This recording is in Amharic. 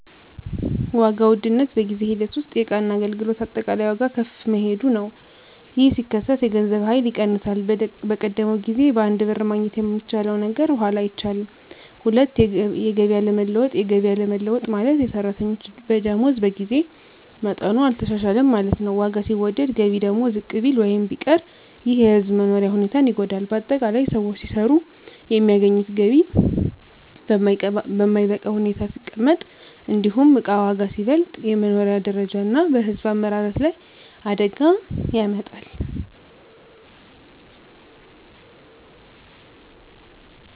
1. ዋጋ ውድነት በጊዜ ሂደት ውስጥ የእቃና አገልግሎት አጠቃላይ ዋጋ ከፍ መሄዱ ነው። ይህ ሲከሰት የገንዘብ ኃይል ይቀንሳል፤ በቀደመው ጊዜ በአንድ ብር ማግኘት የሚቻለው ነገር በኋላ አይቻልም። 2. የገቢ አለመለወጥ የገቢ አለመለወጥ ማለት፣ የሰራተኞች ደመወዝ በጊዜ መጠኑ አልተሻሻለም ማለት ነው። ዋጋ ሲወደድ ገቢ ደግሞ ዝቅ ቢል ወይም ቢቀር ይህ የሕዝብ መኖሪያ ሁኔታን ይጎዳል። ✅ በአጠቃላይ: ሰዎች ሲሰሩ የሚያገኙት ገቢ በማይበቃ ሁኔታ ሲቀመጥ፣ እንዲሁም እቃ ዋጋ ሲበልጥ፣ በመኖሪያ ደረጃ እና በሕዝብ አመራረት ላይ አደጋ ያመጣል።